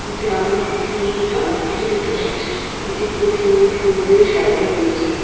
এতে আমরা খুব সুন্দর একটি আলোকসজ্জা দেখতে পারছি এটি খুব সুন্দর ফুল দিয়ে সাজানো রয়েছে।